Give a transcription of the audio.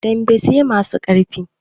Dambe sai masu ƙarfi